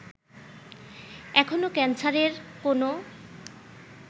এখনো ক্যান্সারের কোনো